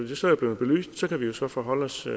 de så er blevet belyst kan vi jo så forholde os til